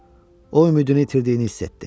O ümidini itirdiyini hiss etdi.